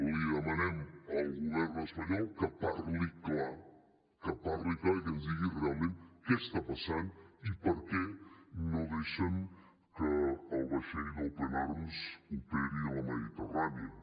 li demanem al govern espanyol que parli clar que parli clar i que ens digui realment què està passant i per què no deixen que el vaixell d’open arms operi a la mediterrània